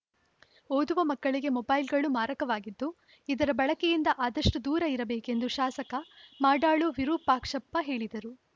ಓದುವ ಮಕ್ಕಳಿಗೆ ಮೊಬೈಲ್‌ಗಳು ಮಾರಕವಾಗಿದ್ದು ಇದರ ಬಳಕೆಯಿಂದ ಆದಷ್ಟುದೂರ ಇರಬೇಕೆಂದು ಶಾಸಕ ಮಾಡಾಳು ವಿರೂಪಾಕ್ಷಪ್ಪ ಹೇಳಿದರು